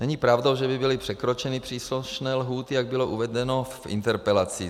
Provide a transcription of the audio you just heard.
Není pravdou, že by byly překročeny příslušné lhůty, jak bylo uvedeno v interpelaci.